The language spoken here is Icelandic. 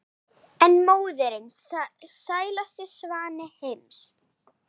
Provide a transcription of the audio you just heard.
en móðirin sælasti svanni heims